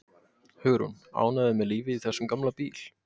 Hugrún: Ánægður með lífið í þessum gamla bíl?